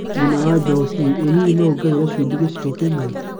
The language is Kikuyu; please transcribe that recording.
Nyina wa Njoki, ĩ hihi no ũngaĩrĩ cumbĩ gĩciko kĩmwe?